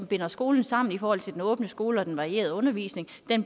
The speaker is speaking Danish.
binder skolen sammen i forhold til den åbne skole og den varierede undervisning